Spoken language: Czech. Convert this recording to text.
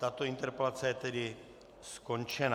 Tato interpelace je tedy skončena.